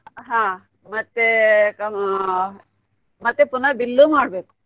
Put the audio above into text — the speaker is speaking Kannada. ಹಾ ಮತ್ತೇ ಆ ಮತ್ತೆ ಪುನ bill ಮಾಡ್ಬೇಕು.